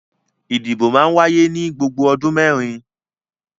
Ìdìbò máa ń wáyé ní gbogbo odun mẹ́rin.